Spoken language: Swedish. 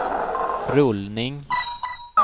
rullning